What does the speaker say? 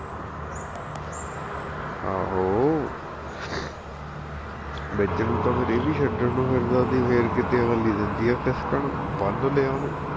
ਆਹੋ ਵਿਚ ਨੂੰ ਤਾਂ ਫੇਰ ਇਹ ਵੀ ਛੱਡਣ ਨੂੰ ਫਿਰਦਾ ਸੀ ਫਿਰ ਕੀਤੇ ਅਗਲੀ ਦਿੰਦੀ ਆ ਖਿਸਕਣ ਬੰਨ ਲਾਇਆ ਉਹਨੇ